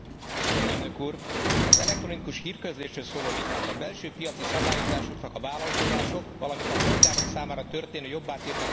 Az elektronikus hírközlésről szóló vitát a belső piaci szabályozásoknak a vállalkozások, valamint a polgárok számára történő jobbá tétele érdekében folytatjuk.